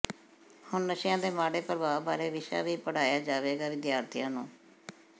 ਹੁਣ ਨਸ਼ਿਆਂ ਦੇ ਮਾੜੇ ਪ੍ਰਭਾਵ ਬਾਰੇ ਵਿਸ਼ਾ ਵੀ ਪੜ੍ਹਾਇਆ ਜਾਵੇਗਾ ਵਿਦਿਆਰਥੀਆਂ ਨੂੰ